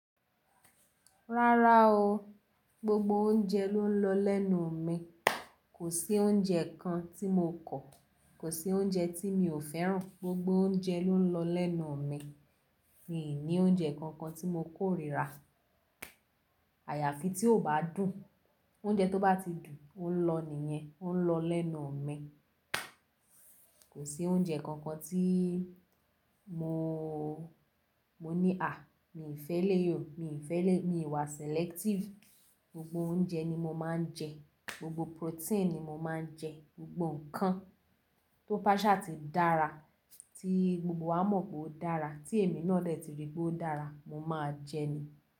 Rárá o, gbogbo óúnjẹ ló ń lọ lẹ́nu mi. Kò sí oúnjẹ kan tí mo kọ̀, kò sí oúnjẹ tí mi ò fẹ́ràn. Gbogbo oúnjẹ ló ń lọ lẹ́nu mi. Mi ò ní óúnjẹ kankan tí mo kóriira. Àyàfi tí ó bá dùn, oúnjẹ tó bá ti dùn, ó ń lọ nìyẹn, ó ń lọ lẹ́nu mi. Kò sí oúnjẹ kànkan tí mo, mo ní à, mi ò fẹ́ eléyí o, mi ò fẹ́ eléyí, mi wà selective. Gbogbo oúnjẹ ni mo máa ń jẹ, gbogbo protein ni mo máa ń jẹ, gbogbo nǹkan tó bá sá ti dára, tí gbogbo wa mọ̀ pé ó dára, tí èmi náà dẹ́ ti rí pé ó dára, mo máa jé ni.